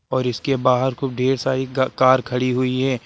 और इसके बाहर खुब ढ़ेर सारी गा कार खड़ी हुई हैं।